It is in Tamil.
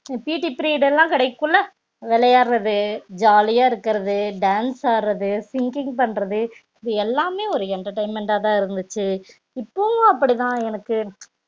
PETperiod லா கிடைக்க குள்ள விளையாடறது ஜாலியா இருக்கறது dance ஆடுறது singing பண்றது இது எல்லாமே ஒரு entertainment தா இருந்துச்சி இப்போவும் அப்டி தா எனக்கு